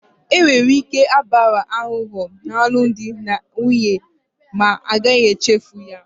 Enwere ike ịgbaghara aghụghọ n'alụmdi na nwunye ma a gaghị echefu ya